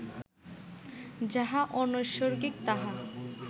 যাহা অনৈসর্গিক, তাহা